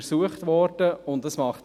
Dies wurde untersucht.